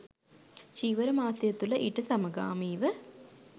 චීවර මාසය තුළ ඊට සමගාමීව